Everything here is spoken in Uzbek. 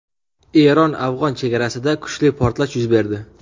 Eron-afg‘on chegarasida kuchli portlash yuz berdi.